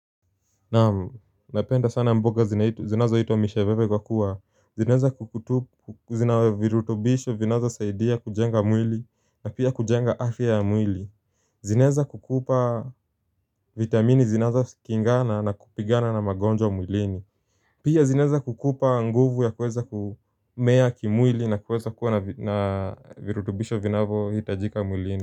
Naam, napenda sana mboga zinazoitwa misheveve kwa kuwa zinaweza kukutu, zina virutubisho vinazosaidia kujenga mwili na pia kujenga afya ya mwili zinaweza kukupa vitamini zinazokingana na kupigana na magonjwa mwilini Pia zinaweza kukupa nguvu ya kuweza kumea kimwili na kuweza kuwa na virutubisho vinavyohitajika mwilini.